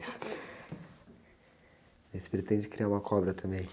E você pretende criar uma cobra também?